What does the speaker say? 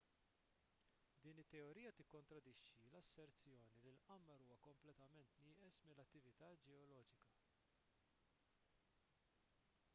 din it-teorija tikkontradixxi l-asserzjoni li l-qamar huwa kompletament nieqes mill-attività ġeoloġika